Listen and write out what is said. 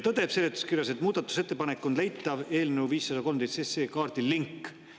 Seletuskirjas tõdetakse, et muudatusettepanek on leitav eelnõu 513 SE kaardil: link.